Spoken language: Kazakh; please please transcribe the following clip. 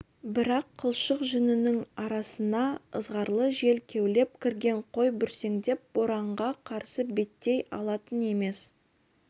бірақ қылшық жүнінің арасына ызғарлы жел кеулеп кірген қой бүрсеңдеп боранға қарсы беттей алатын емес